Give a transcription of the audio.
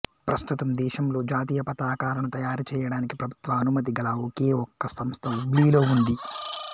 ప్రస్తుతం దేశంలో జాతీయపతాకాలను తయారుచేయడానికి ప్రభుత్వ అనుమతి గల ఒకేఒక్క సంస్థ హుబ్లీలో ఉంది